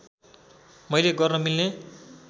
मैले गर्न मिल्ने